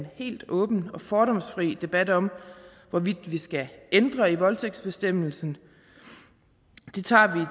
helt åben og fordomsfri debat om hvorvidt vi skal ændre i voldtægtsbestemmelsen det tager vi